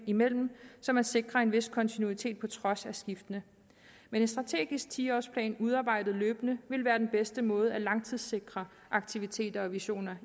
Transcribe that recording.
imellem så man sikrer en vis kontinuitet på trods af skiftene men en strategisk ti års plan udarbejdet løbende ville være den bedste måde at langtidssikre aktiviteter og visioner